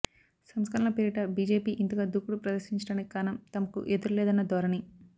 సంస్కరణల పేరిట బీజేపీ ఇంతగా దూకుడు ప్రదర్శించడానికి కారణం తమకు ఎదురులేదన్న ధోరణి